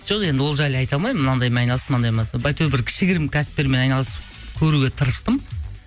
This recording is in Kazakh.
жоқ енді ол жайлы айта алмаймын мынандаймен айналыстым мынандаймен әйтеуір бір кішігірім кәсіптермен айналысып көруге тырыстым